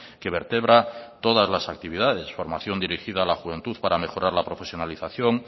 que vertebra todas las actividades formación dirigida a la juventud para mejorar la profesionalización